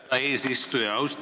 Aitäh, härra eesistuja!